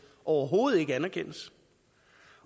overhovedet ikke anerkendes